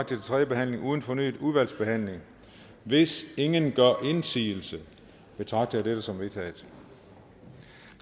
til tredje behandling uden fornyet udvalgsbehandling hvis ingen gør indsigelse betragter jeg dette som vedtaget